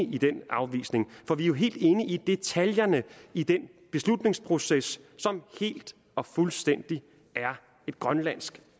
i den afvisning for vi er jo helt inde i detaljerne i den beslutningsproces som helt og fuldstændigt er et grønlandsk